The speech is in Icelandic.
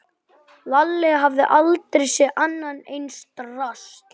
Lalli hafði aldrei séð annað eins drasl.